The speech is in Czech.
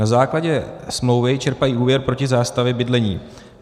Na základě smlouvy čerpají úvěr proti zástavě bydlení.